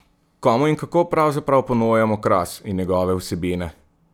Komu in kako pravzaprav ponujamo Kras in njegove vsebine?